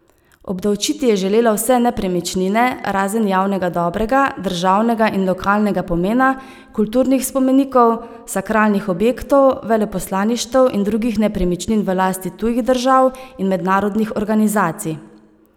Obdavčiti je želela vse nepremičnine, razen javnega dobrega, državnega in lokalnega pomena, kulturnih spomenikov, sakralnih objektov, veleposlaništev in drugih nepremičnin v lasti tujih držav in mednarodnih organizacij.